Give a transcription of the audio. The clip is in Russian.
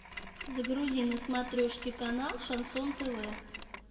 загрузи на смотрешке канал шансон тв